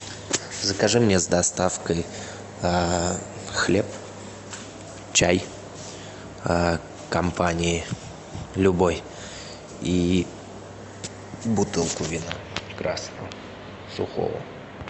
закажи мне с доставкой хлеб чай компании любой и бутылку вина красного сухого